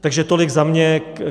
Takže tolik za mě.